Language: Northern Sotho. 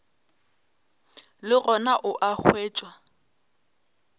le gona o a hwetšwa